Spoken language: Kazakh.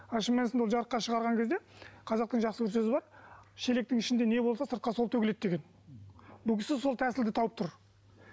ал шын мәнісінде ол жарыққа шығарған кезде қазақтың жақсы бір сөзі бар шелектің ішінде не болса сыртқа сол төгіледі деген бұл кісі сол тәсілді тауып тұр